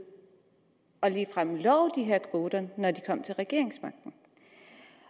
og ligefrem love de her kvoter når man kom til regeringsmagten